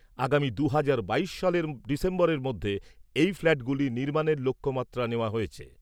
আগামী দুহাজার বাইশ সালের ডিসেম্বরের মধ্যে এই ফ্ল্যাটগুলি নির্মাণের লক্ষ্যমাত্রা নেওয়া হয়েছে।